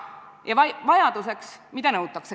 Ja mida nõutakse?